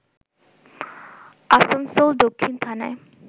আসানসোল দক্ষিণ থানায়